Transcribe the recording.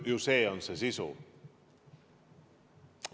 Ju see on see sisu.